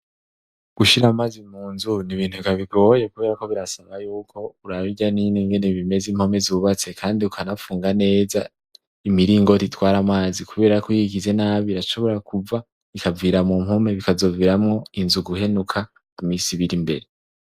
Gushira amazi mu nzu nibintu eka bigoye kuberako birasaba yuko uraba irya nino ingene bimeze impome zubatse kandi ukanapfunga neza imiringoti itwara amazi kubera ko iyo uyigize nabi irashobora kuva ikavira mu mpome bikazoviramwo inzu guhenuka imisi ibirimbere.